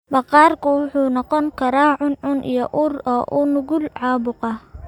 Maqaarku wuxuu noqon karaa cuncun iyo ur, oo u nugul caabuqa.